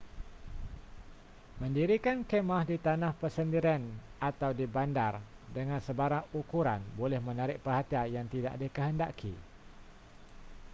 mendirikan khemah di tanah persendirian atau di bandar dengan sebarang ukuran boleh menarik perhatian yang tidak dikehendaki